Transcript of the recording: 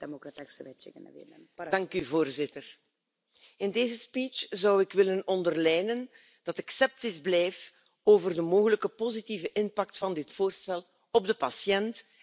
Voorzitter, in deze speech zou ik willen onderlijnen dat ik sceptisch blijf over de mogelijke positieve impact van dit voorstel op de patiënt en de farmaceutische sector.